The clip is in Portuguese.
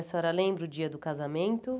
A senhora lembra o dia do casamento?